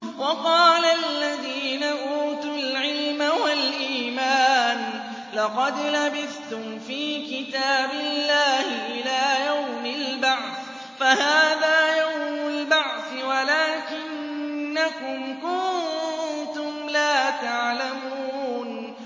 وَقَالَ الَّذِينَ أُوتُوا الْعِلْمَ وَالْإِيمَانَ لَقَدْ لَبِثْتُمْ فِي كِتَابِ اللَّهِ إِلَىٰ يَوْمِ الْبَعْثِ ۖ فَهَٰذَا يَوْمُ الْبَعْثِ وَلَٰكِنَّكُمْ كُنتُمْ لَا تَعْلَمُونَ